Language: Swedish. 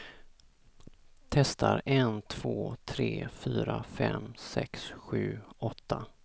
Testar en två tre fyra fem sex sju åtta.